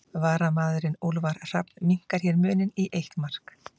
Varamaðurinn Úlfar Hrafn minnkar hér muninn í eitt mark.